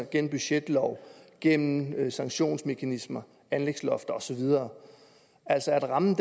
gennem budgetlov gennem sanktionsmekanismer anlægslofter og så videre altså at rammen